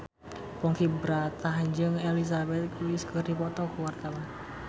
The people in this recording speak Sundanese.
Ponky Brata jeung Elizabeth Gillies keur dipoto ku wartawan